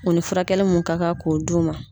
U ni furakɛli mun ka kan k'o d'u ma.